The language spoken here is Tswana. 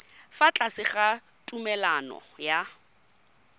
fa tlase ga tumalano ya